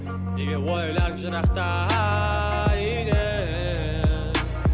неге ойларың жырақта үйден